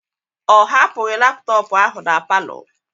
O hapụghị laptọọpụ ahụ na palọ.